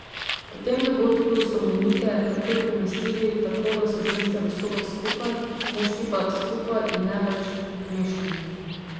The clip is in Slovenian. Po tem dogodku so bolnike takoj premestili, tako da so ženske v sobah skupaj, moški pa skupaj, in ne več mešano.